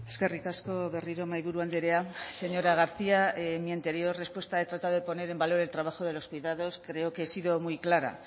eskerrik asko berriro mahaiburu andrea señora garcía en mi anterior respuesta he tratado de poner en valor el trabajo de los cuidados creo que he sido muy clara